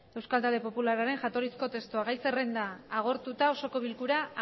euskal talde popularraren jatorrizko testua gai zerrenda agortuta osoko bilkura